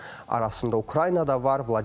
Onların arasında Ukrayna da var.